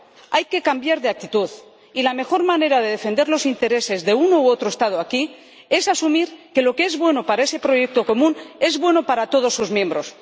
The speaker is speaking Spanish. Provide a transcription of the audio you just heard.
Hay que cambiar de actitud y la mejor manera de defender los intereses de uno u otro Estado aquí es asumir que lo que es bueno para ese proyecto común es bueno para todos sus miembros.